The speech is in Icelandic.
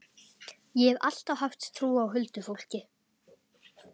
Ég hef alltaf haft trú á huldufólki.